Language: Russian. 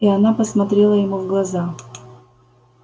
и она посмотрела ему в глаза